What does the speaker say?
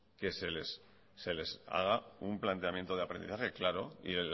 que se les haga un planteamiento de aprendizaje claro y